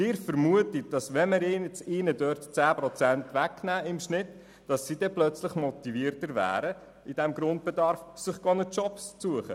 Sie vermuten, dass diese plötzlich motivierter wären, sich einen Job zu suchen, wenn wir ihnen jetzt im Schnitt 10 Prozent des Grundbedarfs wegnehmen.